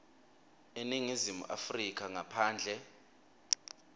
eningizimu afrika ngaphandle